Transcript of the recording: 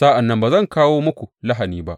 Sa’an nan ba zan kawo muku lahani ba.